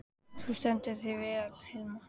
Þú stendur þig vel, Hilma!